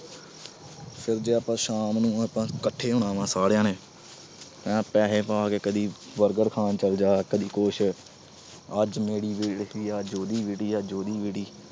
ਫਿਰ ਜਦੋਂ ਸ਼ਾਮ ਨੂੰ ਆਪਾ ਇੱਕਠੇ ਹੋਣਾ ਵਾ ਸਾਰਿਆਂ, ਪੈਸੇ ਪਾ ਕੇ ਕਦੀ burger ਖਾਣ ਚਲ ਜਾ, ਕਦੀ ਕੁਛ। ਅੱਜ ਮੇਰੀ ਵਾਰੀ ਆ, ਅੱਜ ਉਹਦੀ ਵਾਰੀ, ਉਹਦੀ ਵਾਰੀ।